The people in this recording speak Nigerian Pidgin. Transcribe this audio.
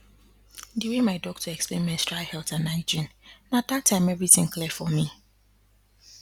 the way my doctor explain menstrual health and hygiene na that time everything clear for me